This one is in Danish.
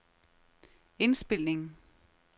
indspilning